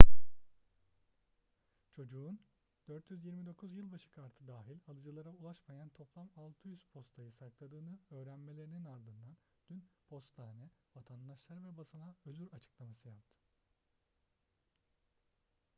çocuğun 429 yılbaşı kartı dahil alıcılara ulaşmayan toplam 600 postayı sakladığını öğrenmelerinin ardından dün postane vatandaşlara ve basına özür açıklaması yaptı